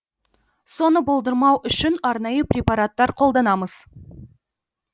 соны болдырмау үшін арнайы препараттар қолданамыз